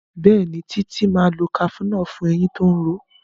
Béèni Titi má lọ cafenol fún ẹyìn tó ń ró.